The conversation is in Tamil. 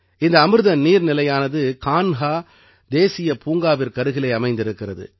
இந்த அமிர்த நீர்நிலையானது கான்ஹா தேசிய பூங்காவிற்கருகிலே அமைந்திருக்கிறது